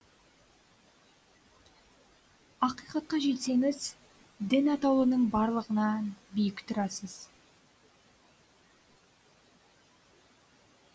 ақиқатқа жетсеңіз дін атаулының барлығынан биік тұрасыз